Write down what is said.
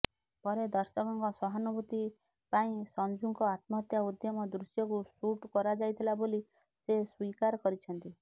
ପରେ ଦର୍ଶକଙ୍କ ସହାନୁଭୂତି ପାଇଁ ସଞ୍ଜୁଙ୍କ ଆତ୍ମହତ୍ୟା ଉଦ୍ୟମ ଦୃଶ୍ୟକୁ ସୁଟ୍ କରାଯାଇଥିଲା ବୋଲି ସେ ସ୍ୱୀକାର କରିଛନ୍ତି